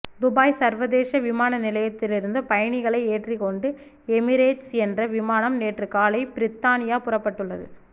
Dubai சர்வதேச விமான நிலையத்திலிருந்து பயணிகளை ஏற்றிக்கொண்டு எமிரேட்ஸ் என்ற விமானம் நேற்று காலை பிரித்தானியா புறப்பட்டுள்ளது